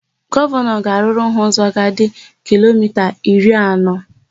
Gọvanọ ga-arụrụ ha ụzọ ga-adị kilomita iri anọ.